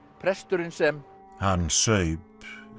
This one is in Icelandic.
presturinn sem hann saup